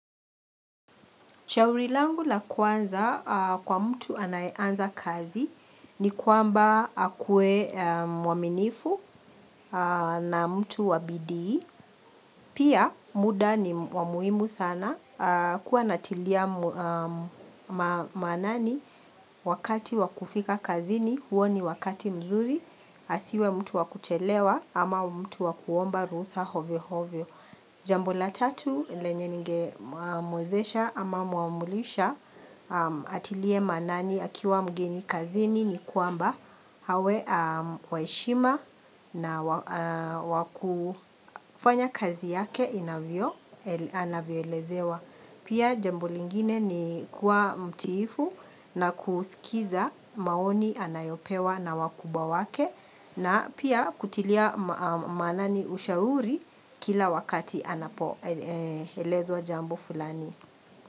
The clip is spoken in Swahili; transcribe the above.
Shauri langu la kwanza kwa mtu anaye anza kazi ni kwamba akuwe mwaminifu na mtu wabidii. Pia muda ni wa muhimu sana kuwa anatilia maanani wakati wa kufika kazini huo ni wakati mzuri asiwe mtu wakuchelewa ama mtu wakuomba ruhusa hovyo hovyo. Jambo la tatu lenye ningemuwezesha ama muamrisha atilie maanani akiwa mgeni kazini ni kwamba awe wa heshima na wakufanya kazi yake anavyo elezewa. Pia jambo lingine ni kuwa mtiifu na kusikiza maoni anayopewa na wakubwa wake na pia kutilia maanani ushauri kila wakati anapo elezwa jambo fulani.